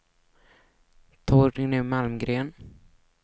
Torgny Malmgren